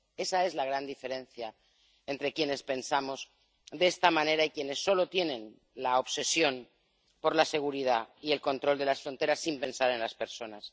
Esa es la gran diferencia entre quienes pensamos de esta manera y quienes solo tienen obsesión por la seguridad y el control de las fronteras sin pensar en las personas.